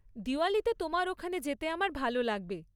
দিওয়ালীতে তোমার ওখানে যেতে আমার ভালো লাগবে।